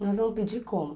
Nós vamos pedir como?